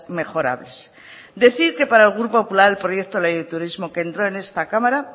mejorables decir que para el grupo popular el proyecto de ley de turismo que entró en esta cámara